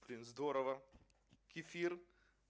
блин здорово кефир